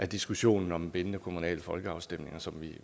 diskussionen om bindende kommunale folkeafstemninger som